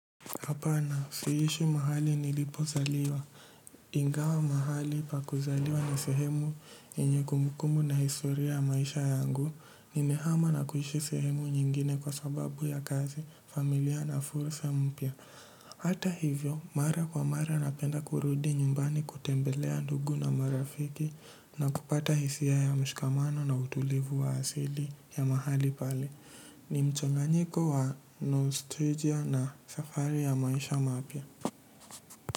Hapana, siishi mahali nilipozaliwa. Ingawa mahali pa kuzaliwa ni sehemu inye kumbukumbu na historia ya maisha yangu. Nimehama na kuishi sehemu nyingine kwa sababu ya kazi, familia na fursa mpya. Hata hivyo, mara kwa mara napenda kurudi nyumbani kutembelea ndugu na marafiki na kupata hisia ya mshikamano na utulivu wa asili ya mahali pale. Ni mchanganyiko wa Nostalgia na safari ya maisha mapya.